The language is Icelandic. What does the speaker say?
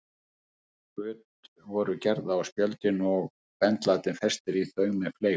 Göt voru gerð á spjöldin og bendlarnir festir í þau með fleygum.